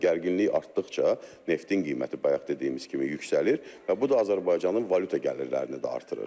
Gərginlik artdıqca neftin qiyməti bayaq dediyimiz kimi yüksəlir və bu da Azərbaycanın valyuta gəlirlərini də artırır.